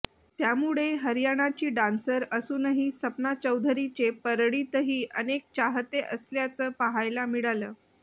त्यामुळे हरियाणाची डान्सर असूनही सपना चौधरीचे परळीतही अनेक चाहते असल्याचं पाहायला मिळालं